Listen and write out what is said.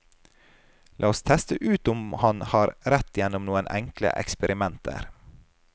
La oss teste ut om han har rett gjennom noen enkle eksperimenter.